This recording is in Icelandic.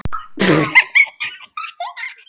Jógað hefur gefið mér lífið.